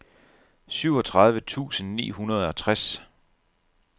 syvogtredive tusind ni hundrede og tres